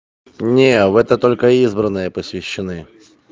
не в это только избранные посвящены